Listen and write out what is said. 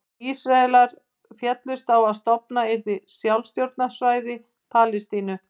Ísraelar féllust á að stofnað yrði sjálfstjórnarsvæði Palestínu.